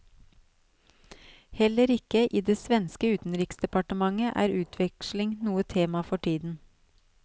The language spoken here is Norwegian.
Heller ikke i det svenske utenriksdepartementet er utveksling noe tema for tiden.